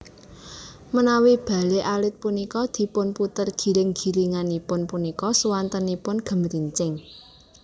Menawi bale alit punika dipun puter giring giringipun punika suwantenipun gemrincing